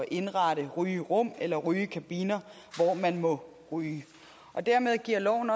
indrette rygerum eller rygekabiner hvor man må ryge dermed giver loven